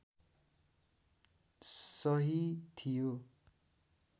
सही थियो